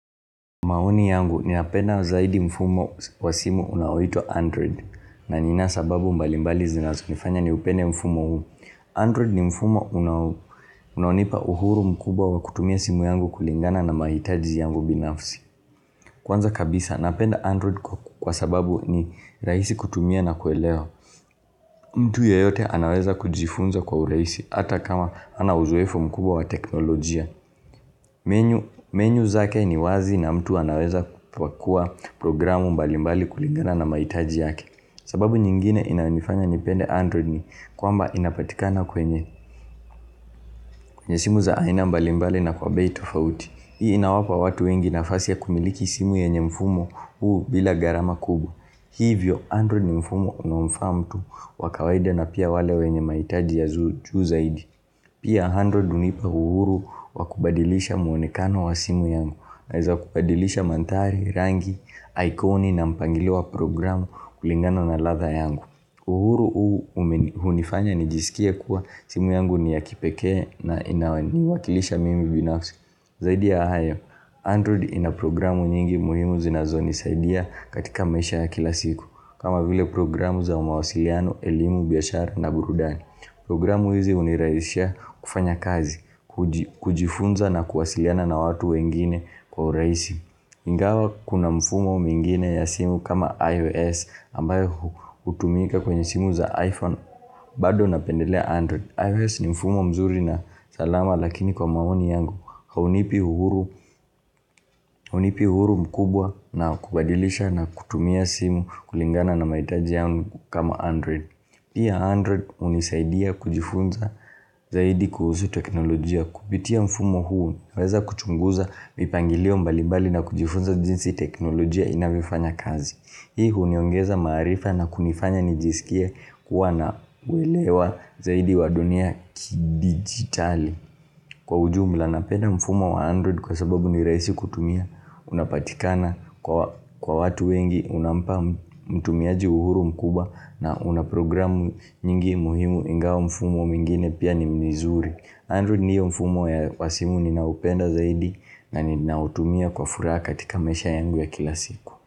Maoni yangu ninapenda zaidi mfumo wa simu unaoitwa Android na nina sababu mbali mbali zinazunifanya niupende mfumo huu Android ni mfumo unaonipa uhuru mkubwa wa kutumia simu yangu kulingana na mahitaji yangu binafsi Kwanza kabisa napenda Android kwa sababu ni rahisi kutumia na kuelewa mtu yeyote anaweza kujifunza kwa uraisi hata kama ana uzoefu mkubwa wa teknolojia Menyu zake ni wazi na mtu anaweza kuwa programu mbali mbali kuligana na maitaji yake sababu nyingine inaonifanya nipende Android ni kwamba inapatikana kwenye kwenye simu za aina mbali mbali na kwa bei tofauti Hii inawapa watu wengi nafasi ya kumiliki simu yenye mfumo huu bila garama kubwa hivyo Android ni mfumo unofa mtu wakawaida na pia wale wenye maitaji ya zuu zaidi Pia Android unipa uhuru wa kubadilisha muonekano wa simu yangu. Naeza wakubadilisha manthari, rangi, aikoni na mpangilewa programu kulingano na latha yangu. Uhuru huu unifanya nijisikie kuwa simu yangu ni ya kipeke na inawaniwakilisha mimi binafsi. Zaidi ya hayo, Android ina programu nyingi muhimu zinazonisaidia katika maisha ya kila siku. Kama vile programu za umawasiliano, elimu, biashara na burudani. Programu hizi uniraisia kufanya kazi, kujifunza na kuwasiliana na watu wengine kwa uraisi. Ingawa kuna mfumo mingine ya simu kama iOS ambayo utumika kwenye simu za iPhone bado napendelea Android. iOS ni mfumo mzuri na salama lakini kwa maoni yangu haunipi huru mkubwa na kubadilisha na kutumia simu kulingana na maitaji yangu kama Android. Pia Android unisaidia kujifunza zaidi kuhusu teknolojia. Kupitia mfumo huu, naweza kuchunguza mipangilio mbalibali na kujifunza jinsi teknolojia inavifanya kazi. Hii uniongeza marifa na kunifanya nijisikie kuwa na uelewa zaidi wa dunia ki-digitali. Kwa ujumula napenda mfumo wa Android kwa sababu ni raisi kutumia unapatikana kwa watu wengi unampa mtumiaji uhuru mkubwa na una programu nyingi muhimu ingawa mfumo mwigine pia ni mizuri. Android ni hiyo mfumo ya simu ninaopenda zaidi na ninautumia kwa furaha katika maisha yangu ya kila siku.